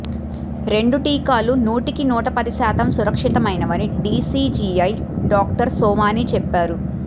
రెండు టీకాలు నూటికి నూట పది శాతం సురక్షితమైనవని డిసిజిఐ డాక్టర్ సోమాని చెప్పారు